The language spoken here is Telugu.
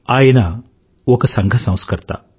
ఆయన ఒక సంఘ సంస్కర్త